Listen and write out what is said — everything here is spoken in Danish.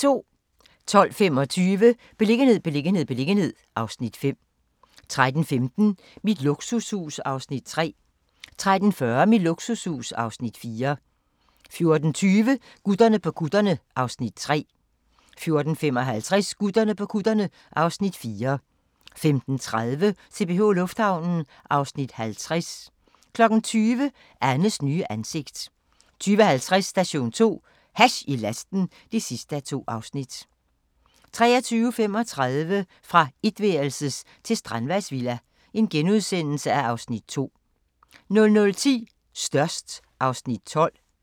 12:25: Beliggenhed, beliggenhed, beliggenhed (Afs. 5) 13:15: Mit luksushus (Afs. 3) 13:45: Mit luksushus (Afs. 4) 14:20: Gutterne på kutterne (Afs. 3) 14:55: Gutterne på kutterne (Afs. 4) 15:30: CPH Lufthavnen (Afs. 50) 20:00: Annes nye ansigt 20:50: Station 2: Hash i lasten (2:2) 23:35: Fra etværelses til strandvejsvilla (Afs. 2)* 00:10: Størst (Afs. 12)